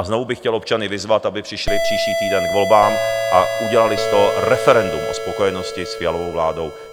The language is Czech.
A znovu bych chtěl občany vyzvat, aby přišli příští týden k volbám a udělali z toho referendum o spokojenosti s Fialovou vládou.